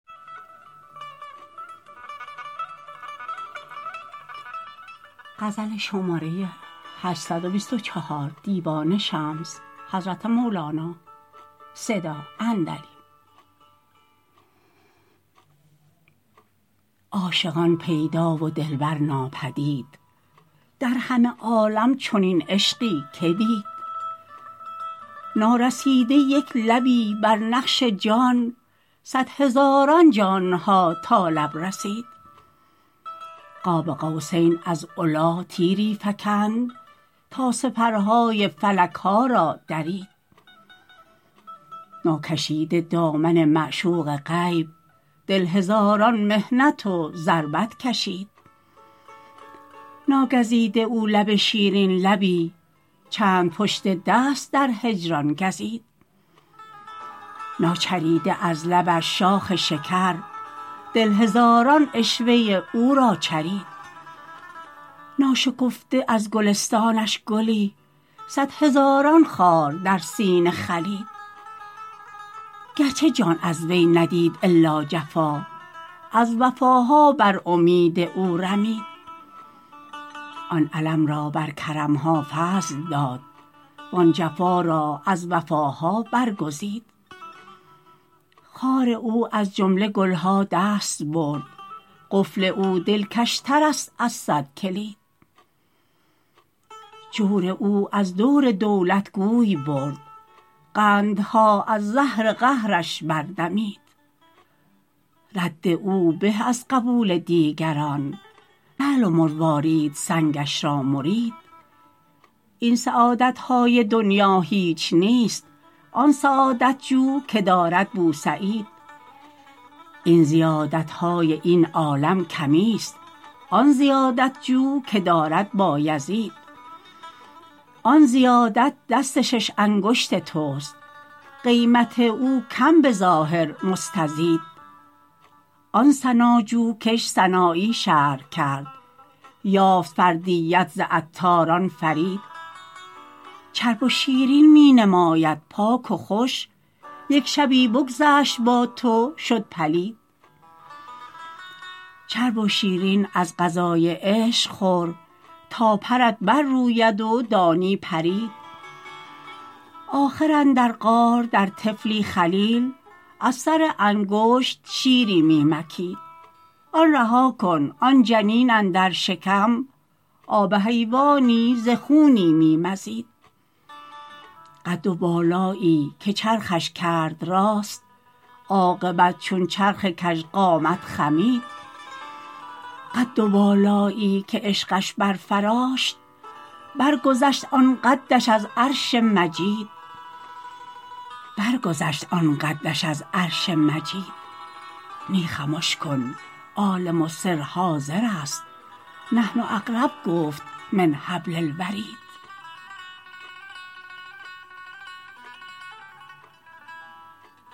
عاشقان پیدا و دلبر ناپدید در همه عالم چنین عشقی که دید نارسیده یک لبی بر نقش جان صد هزاران جان ها تا لب رسید قاب قوسین از علی تیری فکند تا سپرهای فلک ها را درید ناکشیده دامن معشوق غیب دل هزاران محنت و ضربت کشید ناگزیده او لب شیرین لبی چند پشت دست در هجران گزید ناچریده از لبش شاخ شکر دل هزاران عشوه او را چرید ناشکفته از گلستانش گلی صد هزاران خار در سینه خلید گرچه جان از وی ندید الا جفا از وفاها بر امید او رمید آن الم را بر کرم ها فضل داد وان جفا را از وفاها برگزید خار او از جمله گل ها دست برد قفل او دلکشترست از صد کلید جور او از دور دولت گوی برد قندها از زهر قهرش بردمید رد او به از قبول دیگران لعل و مروارید سنگش را مرید این سعادت های دنیا هیچ نیست آن سعادت جو که دارد بوسعید این زیادت های این عالم کمیست آن زیادت جو که دارد بایزید آن زیادت دست شش انگشت تست قیمت او کم به ظاهر مستزید آن سناجو کش سنایی شرح کرد یافت فردیت ز عطار آن فرید چرب و شیرین می نماید پاک و خوش یک شبی بگذشت با تو شد پلید چرب و شیرین از غذای عشق خور تا پرت برروید و دانی پرید آخر اندر غار در طفلی خلیل از سر انگشت شیری می مکید آن رها کن آن جنین اندر شکم آب حیوانی ز خونی می مزید قد و بالایی که چرخش کرد راست عاقبت چون چرخ کژقامت خمید قد و بالایی که عشقش برفراشت برگذشت آن قدش از عرش مجید نی خمش کن عالم السر حاضرست نحن اقرب گفت من حبل الورید